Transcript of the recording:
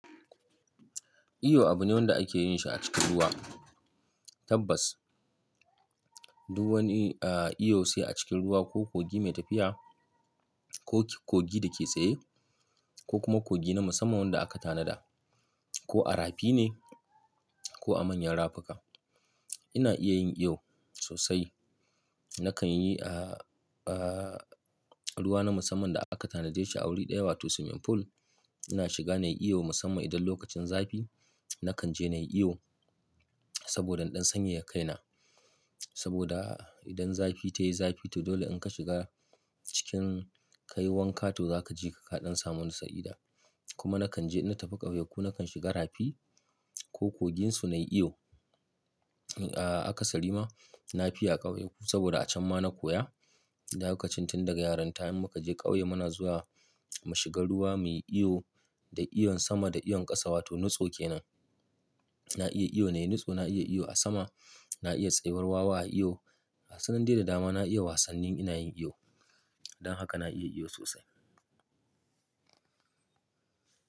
Iyo abu ne wanda ake yin shi a cikin ruwa. Tabbas, duk wani, ah, iyo sai a cikin ruwa ko kogi mai tafiya ko kogi da ke tsaye ko kuma kogi na musamman wanda aka tanada ko a rafi ne ko a manyan rafuka. Ina iya yin iyo sosai. Nakan yi, ah, ah, ruwa na musamman da aka tanade shi a wuri ɗaya wato swimming pool. Ina shiga na yi iyo musamman idan lokacin zafi nakan je na yi iyo saboda ɗan sanye ya kai na. Saboda idan zafi ta yi zafi to dole in ka shiga cikin kayi wanka to za ka je ka kaɗan samu nisa'ida. Kuma nakan je na tafi ƙauye ko nakan shiga rafi ko koginsu na yi iyo. Ah, a ƙasa rima na fi a ƙauye saboda a can ma na koya. Lokacin tun daga yarinta in muka je ƙauye muna zuwa mu shiga ruwa muyi iyo da iyon sama da iyon ƙasa wato nutso kenan. Na iya iyo na yi nutso, na iya iyo a sama, na iya tsayuwar wawa a iyo. Gasunan dai da dama na iya wasannin ina yin iyo. Dan haka na iya iyo sosai.